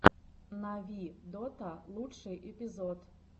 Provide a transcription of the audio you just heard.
нави дота лучший эпизод